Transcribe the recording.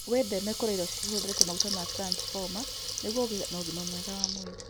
Wĩtheme kũrĩa irio cihũrĩte maguta ma transboma nĩguo ũgĩe na ũgima mwega wa mwĩrĩ.